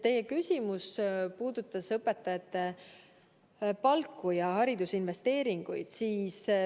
Teie küsimus puudutas õpetajate palku ja haridusinvesteeringuid.